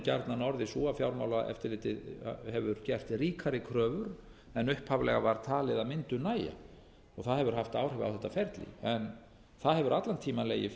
gjarnan orðið sú að fjármálaeftirlitið hefur gert ríkari kröfur en upphaflega var talið að mundu nægja það hefur haft áhrif á þetta ferli en það hefur allan tímann legið fyrir